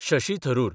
Shashi Tharoor